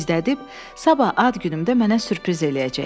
Gizlədib, sabah ad günümdə mənə sürpriz eləyəcək.